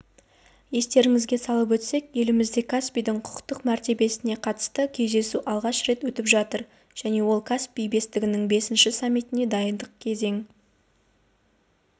естеріңізге салып өтсек елімізде каспийдің құқықтық мәртебесіне қатысты кездесу алғаш рет өтіп жатыр және ол каспий бестігінің бесінші саммитіне дайындық кезеңін